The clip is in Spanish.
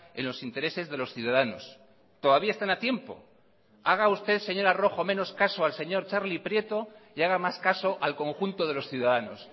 en los intereses de los ciudadanos todavía están a tiempo haga usted señora rojo menos caso al señor txarli prieto y haga más caso al conjunto de los ciudadanos